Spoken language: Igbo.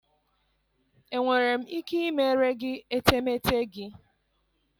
Enwere m ike ịmere gị etemeete gị?